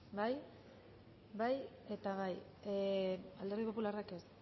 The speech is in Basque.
bai bai eta bai alderdi popularrak ez